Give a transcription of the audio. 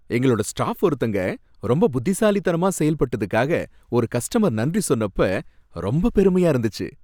எங்களோட ஸ்டாஃப் ஒருத்தங்க ரொம்ப புதிசாலித்தனமா செயல்பட்டதுக்காக ஒரு கஸ்ட்டமர் நன்றி சொன்னப்ப ரொம்ப பெருமையா இருந்துச்சு.